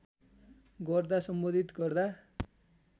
गर्दा सम्बोधित गर्दा